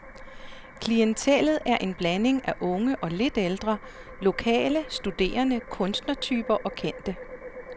Klientellet er en blanding af unge og lidt ældre, lokale, studerende, kunstnertyper og kendte.